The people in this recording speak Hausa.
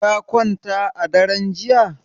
Ka kwanta a daren jiya?